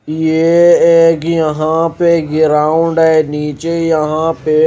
ये एक यहां पे गिराउण्ड नीचे यहां पे---